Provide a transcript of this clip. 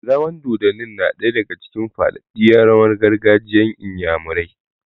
Rawan dodanni na ɗaya daga cikin faɗaɗɗen rawan gargajiyan inyamurai